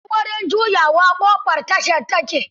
A dai dai wajen juyawa, ƙofar tashar ta ke